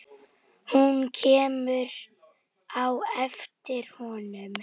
Hún kemur á eftir honum.